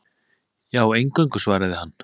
Já, eingöngu, svaraði hann.